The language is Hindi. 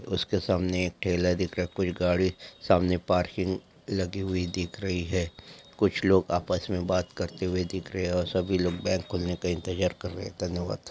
उसके सामने एक ठेला दिख रहा है कुछ गाड़ी सामने पार्किंग लगी हुई दिख रही हैं कुछ लोग आपस में बात करते हुए दिखाई दे रहे हैं और सभी लोग बैंक खुलने का इंतजार कर रहे हैं धन्यवाद